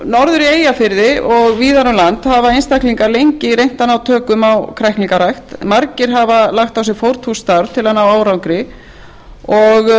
norður í eyjafirði og víðar um land hafa einstaklingar lengi reynt að ná tökum á kræklingarækt margir hafa lagt á sig fórnfúst starf til að ná árangri en